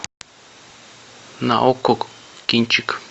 на окко кинчик